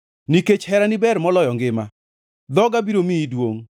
Nikech herani ber moloyo ngima, dhoga biro miyi duongʼ.